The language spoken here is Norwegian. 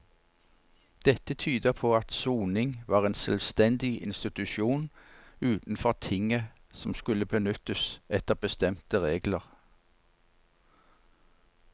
Dette tyder på at soning var en selvstendig institusjon utenfor tinget som skulle benyttes etter bestemte regler.